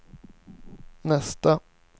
nästa